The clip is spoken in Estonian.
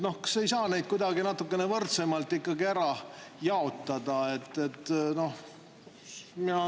Kas ei saa neid kuidagi natukene võrdsemalt ära jaotada?